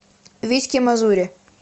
витьке мазуре